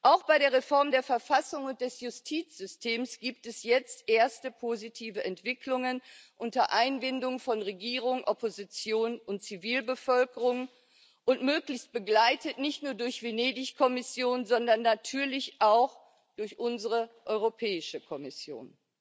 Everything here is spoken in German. Auch bei der Reform der Verfassung und des Justizsystems gibt es jetzt erste positive Entwicklungen unter Einbindung von Regierung, Opposition und Zivilbevölkerung und möglichst begleitet nicht nur durch die Venedig Kommission, sondern natürlich auch durch unsere Europäische Kommission.